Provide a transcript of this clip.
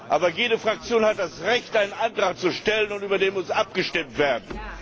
Aber jede Fraktion hat das Recht, einen Antrag zu stellen, und über den muss abgestimmt werden.